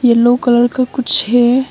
Yellow colour का कुछ है।